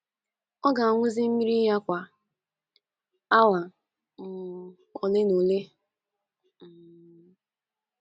Ọ ga - aṅụzi mmiri ya kwa awa um ole na ole. um